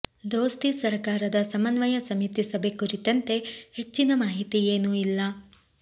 ದೋಸ್ತಿ ಸರಕಾರದ ಸಮನ್ವಯ ಸಮಿತಿ ಸಭೆ ಕುರಿತಂತೆ ಹೆಚ್ಚಿನ ಮಾಹಿತಿ ಏನೂ ಇಲ್ಲ